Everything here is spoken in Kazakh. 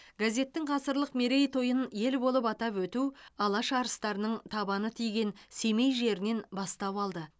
газеттің ғасырлық мерейтойын ел болып атап өту алаш арыстарының табаны тиген семей жерінен бастау алды